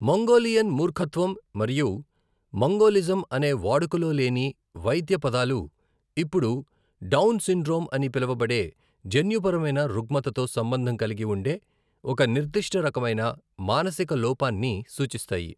Mongolian మూర్ఖత్వం మరియు mongolism అనే వాడుకలో లేని వైద్య పదాలు ఇప్పుడు డౌన్ సిండ్రోమ్ అని పిలవబడే జన్యుపరమైన రుగ్మతతో సంబంధం కలిగి ఉండే ఒక నిర్దిష్ట రకమైన మానసిక లోపాన్ని సూచిస్తాయి.